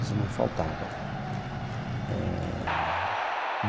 Isso não faltava eh.